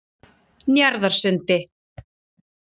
Njarðarsundi